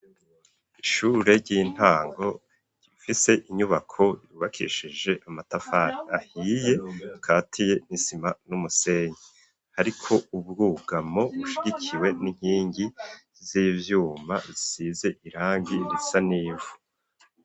Ishure ry'intango rifise inyubako ribakishije amatafari ahiye katiye nisima n'umusenyi hariko ubwugamo bushigikiwe n'inkingi z'ivyuma isize irangi risanivu.